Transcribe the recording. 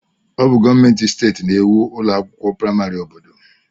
Ọ bụ gọọmentị steeti na-ēwu ụlọ akwụkwọ praịmarị obodo.